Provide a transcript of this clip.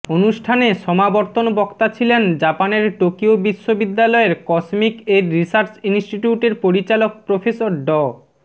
অনুষ্ঠানে সমাবর্তন বক্তা ছিলেন জাপানের টোকিও বিশ্ববিদ্যালয়ের কসমিক এর রিসার্চ ইনস্টিটিউটের পরিচালক প্রফেসর ড